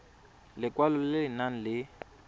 lekwalo le le nang le